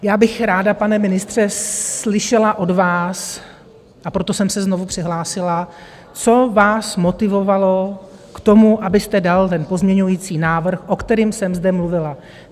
Já bych ráda, pane ministře, slyšela od vás - a proto jsem se znovu přihlásila - co vás motivovalo k tomu, abyste dal ten pozměňující návrh, o kterém jsem zde mluvila.